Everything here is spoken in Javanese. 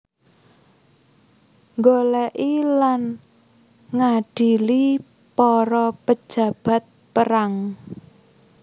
Nggolèki lan ngadili para penjahat perang